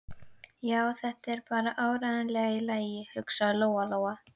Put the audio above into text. Já, þetta er bara áreiðanlega í lagi, hugsaði Lóa Lóa.